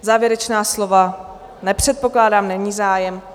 Závěrečná slova nepředpokládám, není zájem.